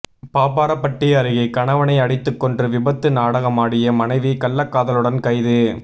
பாப்பாரப்பட்டி அருகே கணவனை அடித்துக் கொன்று விபத்து நாடகமாடிய மனைவி கள்ளக்காதலனுடன் கைது